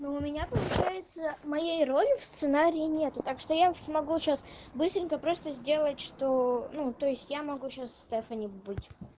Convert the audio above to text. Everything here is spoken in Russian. ну у меня получается моей роли в сценарии нету так что я не могу сейчас быстренько просто сделать что ну то есть я могу сейчас стефани быть